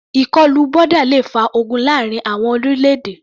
Ìkọlù boda le fa ogun láàrin àwọn orílẹ̀-èdè.